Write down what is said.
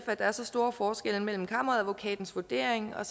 at der er store forskelle mellem kammeradvokatens vurdering og